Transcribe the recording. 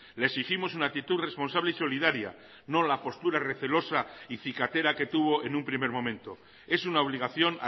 le exigimos una actitud responsable y solidaria no la postura recelosa y cicatera que tuvo en un primer momento es una obligación